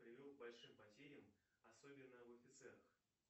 привел к большим потерям особенно в офицерах